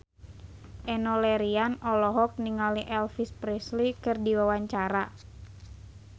Enno Lerian olohok ningali Elvis Presley keur diwawancara